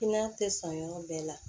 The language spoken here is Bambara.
I n'a tɛ sɔn yɔrɔ bɛɛ la